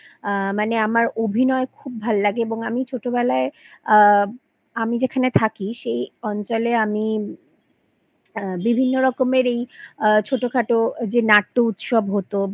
আ মানে আমার অভিনয় খুব ভাল লাগে এবং আমি ছোটবেলায় আ আমি যেখানে থাকি এই অঞ্চলে আমি আ বিভিন্ন রকমেরই যে ছোটোখাটো নাট্য উৎসব হতো